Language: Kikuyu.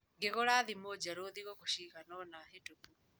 Ngĩgũra thimũ njerũ thikũ cigana ũna hĩtũku.